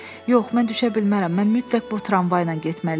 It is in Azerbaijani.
Yox, mən düşə bilmərəm, mən mütləq bu tramvayla getməliyəm.